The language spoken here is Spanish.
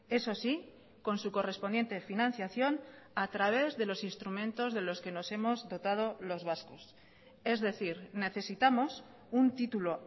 eso sí con su correspondiente financiación a través de los instrumentos de los que nos hemos dotado los vascos es decir necesitamos un título